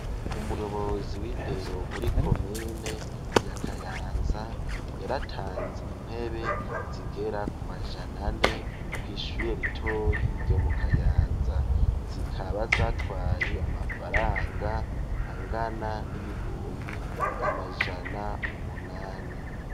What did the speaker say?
Umuyobozi w'indero muri komine ya Kayanza, yaratanze intebe zigera ku majana ane kw'ishure ritoyi ryo mu Kayanza. Zikaba zatwaye amafaranga angana n'ibihumbi amajana umunani.